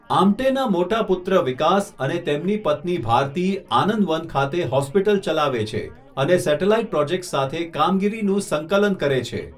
આમ્ટેના મોટા પુત્ર વિકાસ અને તેમની પત્ની ભારતી આનંદવન ખાતે હોસ્પિટલ ચલાવે છે અને સેટેલાઇટ પ્રોજેક્ટ્સ સાથે કામગીરીનું સંકલન કરે છે.